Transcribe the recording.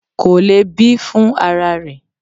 Kò le bí fún ara rẹ.